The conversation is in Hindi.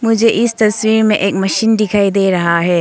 मुझे इस तस्वीर में एक मशीन दिखाई दे रहा है।